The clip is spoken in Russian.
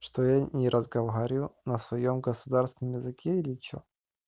что я не разговариваю на своём государственном языке или что